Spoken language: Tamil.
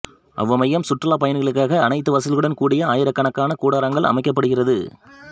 அவ்வமயம் சுற்றுலா பயணிக்களுக்காக அனைத்து வசதிகளுடன் கூடிய ஆயிரக்கணக்கான கூடாரங்கள் அமைக்கப்படுகிறது